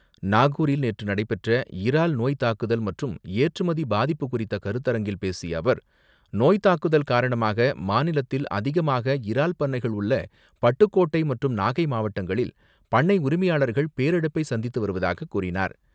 நாகூரில் நேற்று நடைபெற்ற இறால் நோய் தாக்குதல் மற்றும் ஏற்றுமதி பாதிப்பு குறித்த கருத்தரங்கில் பேசிய அவர், நோய் தாக்குதல் காரணமாக மாநிலத்தில் அதிகமாக இறால் பண்ணைகள் உள்ள பட்டுக்கோட்டை மற்றும் நாகை மாவட்டங்களில் பண்ணை உரிமையாளர்கள் பேரிழப்பை சந்தித்து வருவதாகக் கூறினார்.